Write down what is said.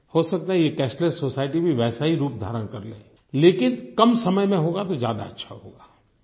हो सकता है ये कैशलेस सोसाइटी भी वैसा ही रूप धारण कर ले लेकिन कम समय में होगा तो ज्यादा अच्छा होगा